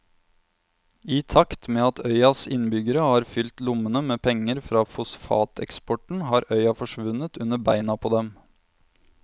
I takt med at øyas innbyggere har fylt lommene med penger fra fosfateksporten har øya forsvunnet under beina på dem.